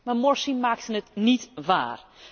Maar Morsi maakte het niet waar.